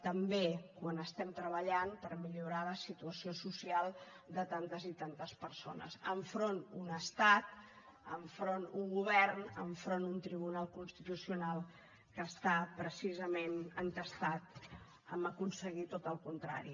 també quan estem treballant per millorar la situació social de tantes i tantes persones enfront d’un estat enfront d’un govern enfront d’un tribunal constitucional que està precisament entestat a aconseguir tot el contrari